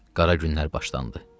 Qara günlər başlandı.